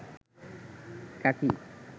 কাকি